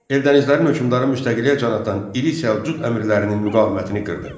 Eldənizlərin hökmdarı müstəqilliyə can atan iri Səlcuq əmirlərinin müqavimətini qırdı.